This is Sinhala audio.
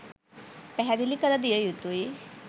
පැහැදිලි කර දිය යුතුයි